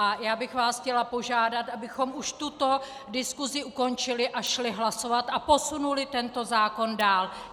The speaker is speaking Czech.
A já bych vás chtěla požádat, abychom už tuto diskusi ukončili a šli hlasovat a posunuli tento zákon dál.